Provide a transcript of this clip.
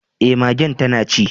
Eh magen tana ci.